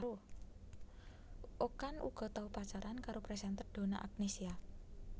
Okan uga tau pacaran karo presenter Donna Agnesia